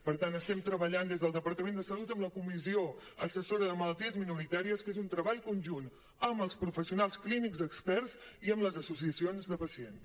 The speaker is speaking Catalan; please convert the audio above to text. per tant estem treballant des del departament de salut amb la comissió assessora de malalties minoritàries que és un treball conjunt amb els professionals clínics experts i amb les associacions de pacients